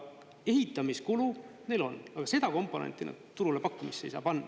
Ehitamise kulu neil on, aga seda komponenti nad turule pakkumisel ei saa panna.